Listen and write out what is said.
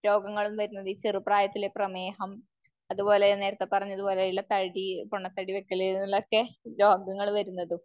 രോഗങ്ങളും വരുന്നതും ഈ ചെറുപ്രായത്തില് പ്രമേഹം അത്പോലെ നേരത്തെ പറഞ്ഞത് പോലെ ഉള്ള തടി പൊണ്ണത്തടി വെക്കല് എന്നിങ്ങനെ ഒക്കെ രോഗങ്ങള് വരുന്നത്.